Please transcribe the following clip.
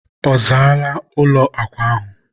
a zaala ụlọ akwa ahụ?